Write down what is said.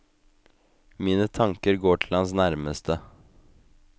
Mine tanker går til hans nærmeste.